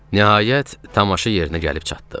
Nəhayət, tamaşa yerinə gəlib çatdıq.